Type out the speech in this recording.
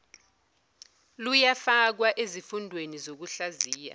luyafakwa ezifundweni zokuhlaziya